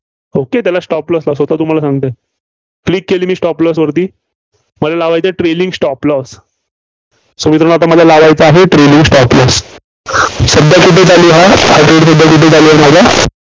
okay त्याला stop loss स्वतः तुम्हाला सांगतंय. Click केली मी stop loss वरती. मला लावयचं आहे trailing stop loss so मला आता लावायचा आहे trailing stop loss सध्या कुठे चालू आहे, हा trade सध्या कुठं चालू आहे माझा?